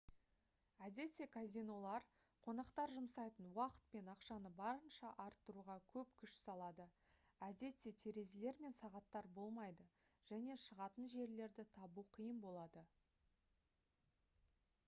әдетте казинолар қонақтар жұмсайтын уақыт пен ақшаны барынша арттыруға көп күш салады әдетте терезелер мен сағаттар болмайды және шығатын жерлерді табу қиын болады